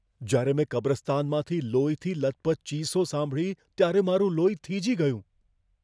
જ્યારે મેં કબ્રસ્તાનમાંથી લોહીથી લથપથ ચીસો સાંભળી, ત્યારે મારું લોહી થીજી ગયું.